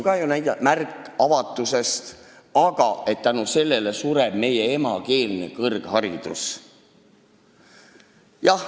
See on ka märk avatusest, aga selle tõttu sureb meie emakeelne kõrgharidus välja.